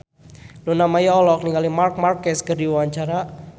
Luna Maya olohok ningali Marc Marquez keur diwawancara